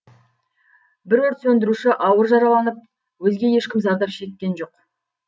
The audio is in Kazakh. бір өрт сөндіруші ауыр жараланып өзге ешкім зардап шеккен жоқ